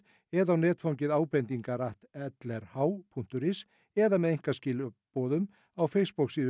eða á netfangið abendingarlrh punktur is eða með einkaskilaboðum á